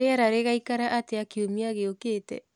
rĩera rĩgaĩkara atĩa kĩumĩa gĩũkĩte